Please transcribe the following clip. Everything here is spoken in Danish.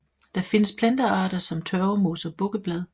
Der findes plantearter som tørvemos og bukkeblad